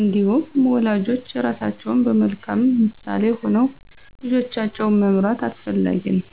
እንዲሁም ወላጆች ራሳቸው በመልካም ምሳሌ ሆነው ልጆቻቸውን መምራት አስፈላጊ ነው።